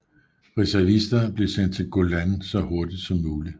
Reservister blev sendt til Golan så hurtigt som muligt